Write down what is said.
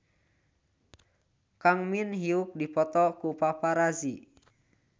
Kang Min Hyuk dipoto ku paparazi